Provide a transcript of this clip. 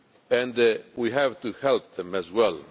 and we have to help them as well.